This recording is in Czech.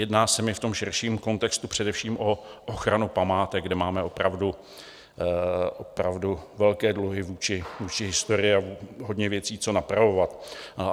Jedná se mi v tom širším kontextu především o ochranu památek, kde máme opravdu velké dluhy vůči historii a hodně věcí co napravovat.